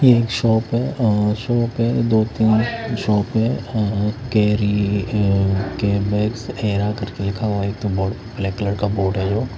ये एक शॉप है और शॉप है दो-तीन शॉप है अ-अ कैरी के बैगस एरा करके लिखा हुआ है एक तो ब्लैक कलर का बोर्ड है जो--